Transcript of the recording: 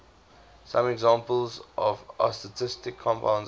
some examples of astatic compounds are